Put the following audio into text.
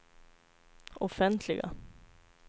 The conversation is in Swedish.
offentliga